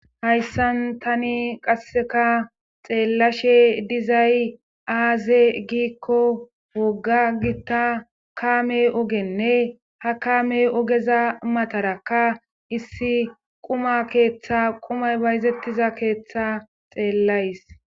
hayssan tani qasseka xeellashe dizay aaze giikko wogga gitta kaame ogenne ha kaame ogeza matarakka issi quma keeththa qumay bayzettiza keeththa xeellays